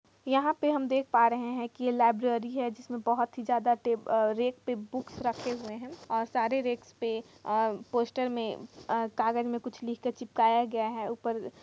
यहाँ पे हम देख पा रहे है की लाइब्रेरी है जिस मे बहुत ही ज्यादा टे रैक पे बुक रखे हुए है और सारे रैक्स पे आ पोस्टर मे आ कागज मे कुछ लिख कर चिपकाया गया है ऊपर --